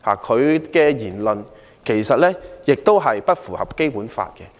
他的言論其實也不符合《基本法》。